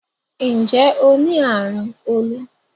Nje o ni arun olu?